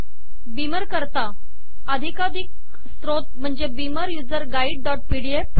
Beamer करता अधिकारिक स्त्रोत म्हणजे Beamer user guide dot PDF